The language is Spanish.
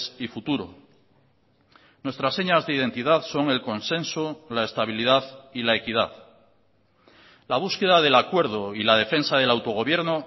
y futuro nuestras señas de identidad son el consenso la estabilidad y la equidad la búsqueda del acuerdo y la defensa del autogobierno